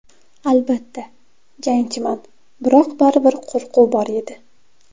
Albatta, jangchiman, biroq baribir qo‘rquv bor edi.